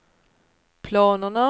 planerna